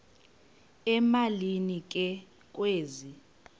emalini ke kwezi